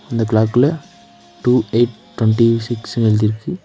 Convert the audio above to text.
இந்த க்ளாக்ல two eight twenty சிக்ஸ்னு எழுதிருக்கு.